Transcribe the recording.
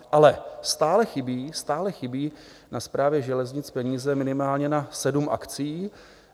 Ale stále chybí na Správě železnic peníze minimálně na sedm akcí.